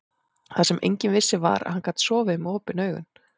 Það sem enginn vissi var, að hann gat sofið með OPIN AUGUN.